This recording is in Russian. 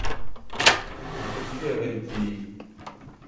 запусти рен тв